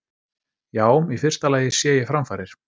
Já, í fyrsta lagi sé ég framfarir.